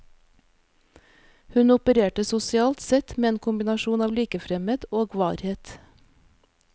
Hun opererte sosialt sett med en kombinasjon av likefremhet og varhet.